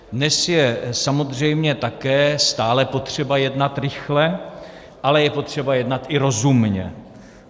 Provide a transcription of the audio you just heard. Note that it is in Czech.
Dnes je samozřejmě také stále potřeba jednat rychle, ale je potřeba jednat i rozumně.